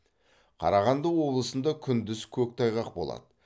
қарағанды облысында күндіз көктайғақ болады